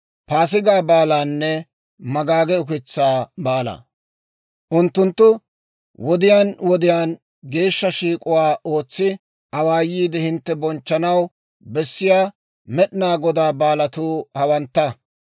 « ‹Unttunttu wodiyaan wodiyaan geeshsha shiik'uwaa ootsi awaayiide hintte bonchchanaw bessiyaa Med'inaa Godaa baalatuu hawantta.